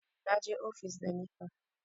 na je ofis da napep